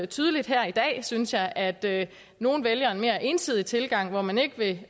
tydeligt her i dag synes jeg at nogle vælger en mere ensidig tilgang hvor man ikke vil